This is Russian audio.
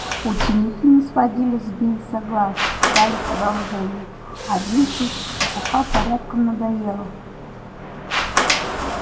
ученики не сводили с бинса глаз ждали продолжения а бинсу эта чепуха порядком надоела